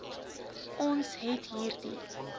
ons het hierdie